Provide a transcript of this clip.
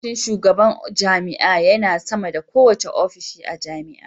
Ofishin shugaban jami'a yana sama da kowane ofishi a jami'a.